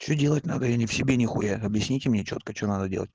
что делать надо я не в себе нехуя объясните мне чётко что делать